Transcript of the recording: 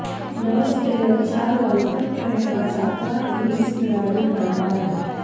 Ross Taylor चार World Cup खेळणारा सातवा किवीज खेळाडू ठरणार आहे